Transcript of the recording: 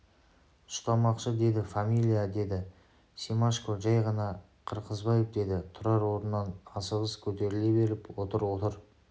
ұстамақшы деді фамилия деді семашко жәй ғана қырғызбаев деді тұрар орнынан асығыс көтеріле беріп отыр отыр